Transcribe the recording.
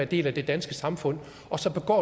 del af det danske samfund og så begår